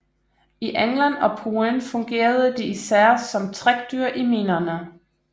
I England og Polen fungerede de især som trækdyr i minerne